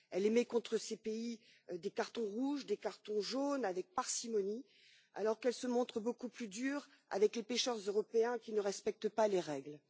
Elle émet contre ces pays des cartons rouges, des cartons jaunes, avec parcimonie, alors qu'elle se montre beaucoup plus dure envers les pêcheurs européens qui ne respectent pas les règles.